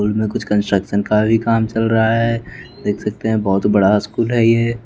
school में कुछ construction का भी काम चल रहा है देख सकते हैं बहुत बड़ा स्कूल है ये --